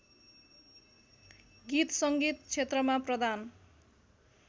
गीत सङ्गीत क्षेत्रमा प्रदान